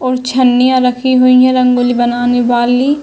और छन्निया रखी हुई है रंगोली बनाने वाली।